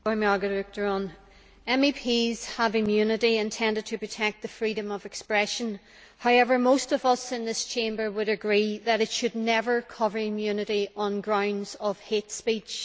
Madam President, MEPs have immunity intended to protect the freedom of expression. However, most of us in this Chamber would agree that it should never cover immunity on grounds of hate speech.